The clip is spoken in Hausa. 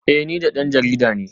Eh ni dan jarida ne